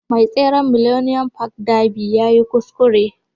Mai tseren Millennium Park Darby yayi kuskure